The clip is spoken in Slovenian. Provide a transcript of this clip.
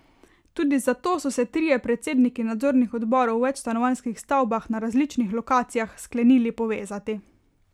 Tudi zato so se trije predsedniki nadzornih odborov v večstanovanjskih stavbah na različnih lokacijah sklenili povezati.